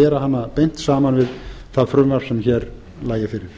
bera hana beint saman við það frumvarp sem hér lægi fyrir